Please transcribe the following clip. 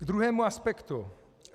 K druhému aspektu.